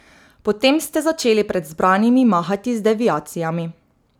Potem ste začeli pred zbranimi mahati z deviacijami.